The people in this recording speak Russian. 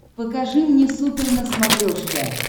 покажи мне супер на смотрешке